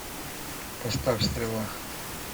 поставь стрела